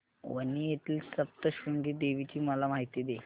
वणी येथील सप्तशृंगी देवी ची मला माहिती दे